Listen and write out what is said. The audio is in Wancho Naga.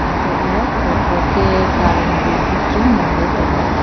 antohley tho-tho ke current ru buchu nganley tailey.